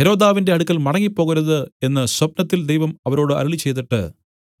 ഹെരോദാവിന്റെ അടുക്കൽ മടങ്ങിപ്പോകരുത് എന്നു സ്വപ്നത്തിൽ ദൈവം അവരോട് അരുളിച്ചെയ്തിട്ട്